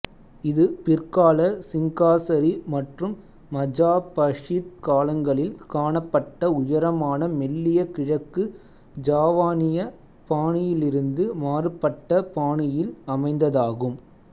இது பிற்கால சிங்காசரி மற்றும் மஜாபஹித் காலங்களில் காணப்பட்ட உயரமான மெல்லிய கிழக்கு ஜாவானிய பாணியிலிருந்து மாறுபட்ட பாணியில் அமைந்ததாகும்